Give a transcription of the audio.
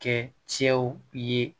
Kɛ cɛw ye